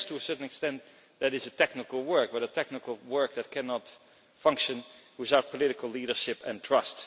Yes, to a certain extent that is technical work, but technical work that cannot function without political leadership and trust.